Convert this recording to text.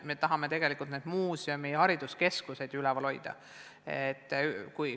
Me tahame tegelikult muuseume ja hariduskeskusi töös hoida.